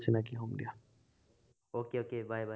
okay okay, bye bye